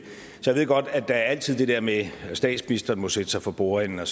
så jeg ved godt at der altid er det der med at statsministeren må sætte sig for bordenden og